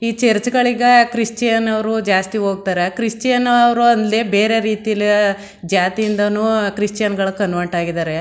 ಈ ಚರ್ಚ್ ಗಳಿಗೆ ಕ್ರಿಶ್ಚಿಯನ್ ಯವರು ಜಾಸ್ತಿ ಹೋಗ್ತಾರೆ ಕ್ರಿಶ್ಚಿಯನ್ ಯವರು ಅಲ್ಲಿ ಬೇರೆ ರೀತಿಯಲ್ಲೂ ಜಾತಿಯಿಂದನೋ ಕ್ರಿಶ್ಚಿಯನ್ ಗಳ ಕನ್ವರ್ಟ್ ಆಗಿದ್ದಾರೆ.